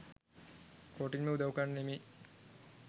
කොටින්ට උදව් කරන්න නෙමෙයි